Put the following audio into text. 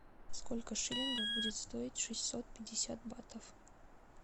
сколько шиллингов будет стоить шестьсот пятьдесят батов